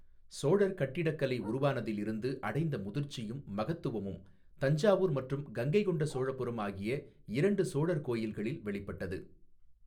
சோழர் கட்டிடக்கலை உருவானதில் இருந்து அடைந்த முதிர்ச்சியும், மகத்துவமும் தஞ்சாவூர் மற்றும் கங்கைகொண்ட சோழபுரம் ஆகிய இரண்டு சோழர் கோயில்களில் வெளிப்பட்டது.